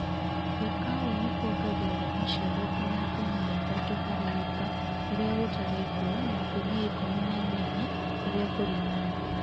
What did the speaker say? gũĩka ũũ nĩkũongagĩrĩra macĩaro ngĩnya ngũnĩa ĩthatũ harĩ ĩka rĩrĩa gũtarĩ mbũra na ngũnĩa ĩkũmĩ na ĩnyanya rĩrĩa kũrĩ na mbũra